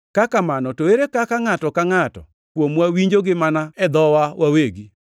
Ka kamano, to ere kaka ngʼato ka ngʼato kuomwa winjogi mana e dhowa wawegi?